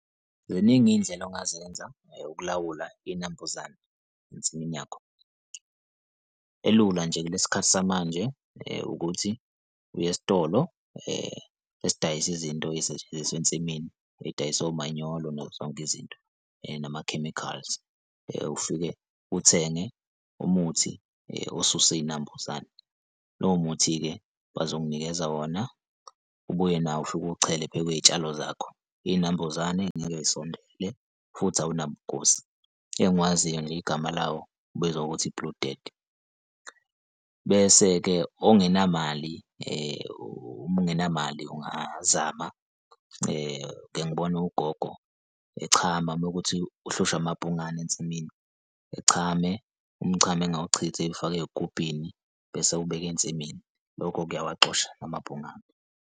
Ziningi iy'ndlela ongazenza ukulawula iy'nambuzane ensimini yakho. Elula nje kulesi khathi samanje ukuthi uye esitolo esidayisa izinto ezisetshenziswe ensimini edayise omanyolo nazo zonke izinto, nama-chemicals. Ufike uthenge umuthi osusa iy'nambuzane. Lowo muthi-ke bazokunikeza wona ubuye nawo ufike uwuchele phezu kwey'tshalo zakho. Iy'nambuzane ngeke zisondele futhi awunabungozi. Engiwaziyo nje igama lawo ubizwa ngokuthi i-blue death. Bese-ke ongenamali uma ungenamali, ungazama ngike ngibone ugogo echama uma kuwukuthi uhlushwa amabhungane ensimini, echame, umchamo engawuchithi ewufake ey'gubhini bese ewubeke ensimini. Lokho kuyawaxosha amabhungane.